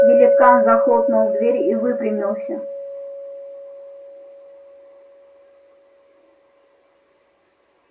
великан захлопнул дверь и выпрямился